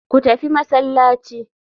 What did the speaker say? Ku tafi masallaci.